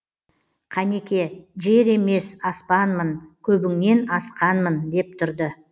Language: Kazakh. қанеке жер емес аспанмын көбіңнен асқанмын деп тұрды